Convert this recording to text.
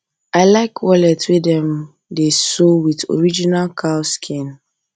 i like wallet wey dem wey dem sew with original cow skin